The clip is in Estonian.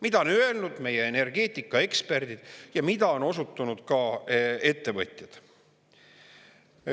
Seda on öelnud meie energeetikaeksperdid ja mida on osutunud ka ettevõtjad.